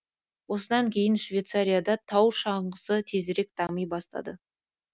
осыдан кейін ақ швейцария да тау шаңғысы тезірек дами бастайды